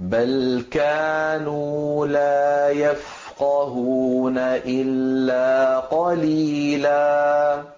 بَلْ كَانُوا لَا يَفْقَهُونَ إِلَّا قَلِيلًا